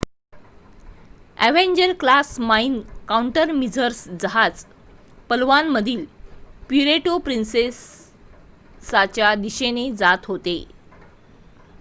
Avenger class mine countermeasures जहाज पलवानमधील Puerto प्रिन्सेसाच्या दिशेने जात होते